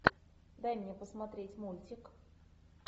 дай мне посмотреть мультик